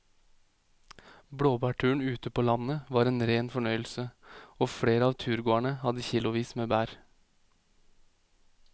Blåbærturen ute på landet var en rein fornøyelse og flere av turgåerene hadde kilosvis med bær.